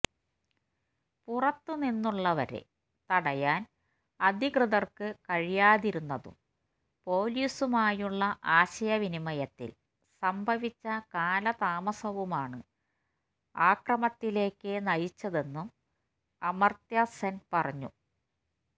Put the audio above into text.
പുറത്തുനിന്നുള്ളവരെ തടയാന് അധികൃതര്ക്ക് കഴിയാതിരുന്നതും പൊലീസുമായുള്ള ആശയവിനിമയത്തില് സംഭവിച്ച കാലതാമസവുമാണ് ആക്രമത്തിലേക്ക് നയിച്ചതെന്നും അമര്ത്യസെന് പറഞ്ഞു